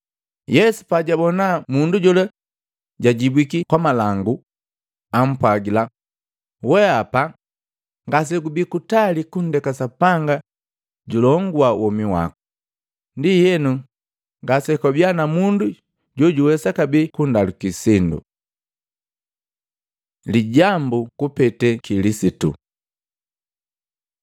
Yesu pajabona mundu jola jujibwiki kwamalangu, ampwagila, “Weapa ngasegubii kutali kundekee Sapanga julongua womi wako.” Ndienu, ngakuba mundu jojawesa kabee kundaluki sindu. Lijambu kupete Kilisitu Matei 22:41-46; Luka 20:41-44